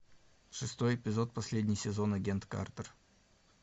шестой эпизод последний сезон агент картер